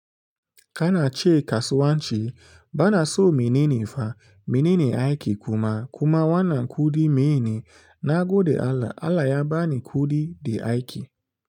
Kana ce kasuwa ce, bana so mene ne fa, mene ne aiki kuma, kuma wanan kuɗi meye ne nagoɗe Allah, Allah ya bani kuɗi da aiki.